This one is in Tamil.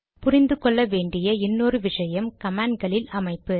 புரிந்து கொள்ள வேண்டிய இன்னொரு விஷயம் கமாண்ட் களில் அமைப்பு